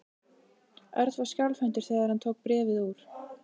Örn var skjálfhentur þegar hann tók bréfið úr.